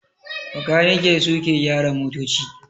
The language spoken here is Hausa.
makaniki suke ke gyara motoci